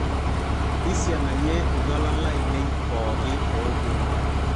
isianayie iltualan lainei pooki oopuonu